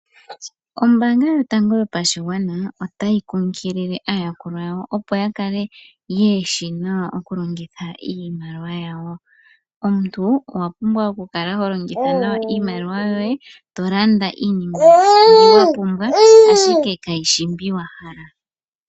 Ombaanga Yotango Yopashigwana otayi kunkilile aayakulwa yawo, opo ya kale ye shi nawa okulongitha iimaliwa yawo. Omuntu owa pumbwa okukala ho longitha nawa iimaliwa yoye, to landa iinima mbi wa pumbwa, ashike kayi shi mbi wa hala.